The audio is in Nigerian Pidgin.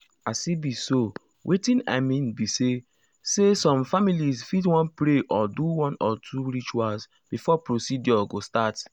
as e be so wetin i mean be say say some families fit wan pray or do one or two rituals before procedure go start.